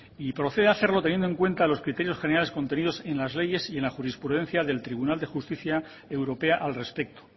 y procede hacerlo teniendo en cuenta los criterios generales contenidos en las leyes y en la jurisprudencia del tribunal de justicia europea al respecto